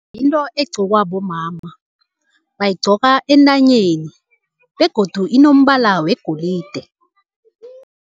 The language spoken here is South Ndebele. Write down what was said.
Yinto egqokwa bomama, bayigcoka entanyeni begodu inombala wegolide.